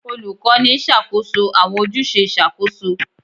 Olukọni n ṣakoso awọn ojuse iṣakoso